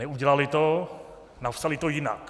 Neudělali to, napsali to jinak.